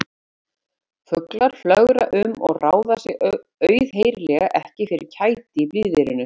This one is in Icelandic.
Fuglar flögra um og ráða sér auðheyrilega ekki fyrir kæti í blíðviðrinu.